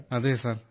yes sir